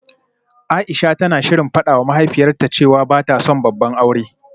Aisha tana shirin fadawa mahaifiyarta cewa bata son babban aure